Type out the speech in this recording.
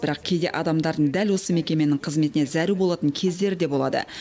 бірақ кейде адамдардың дәл осы мекеменің қызметіне зәру болатын кездері де болады